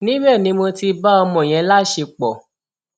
níbẹ ni mo ti bá ọmọ yẹn láṣẹpọ